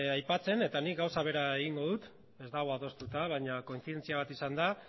aipatzen eta nik gauza bera egingo dut ez dago adostuta baina kointzidentzia bat izan da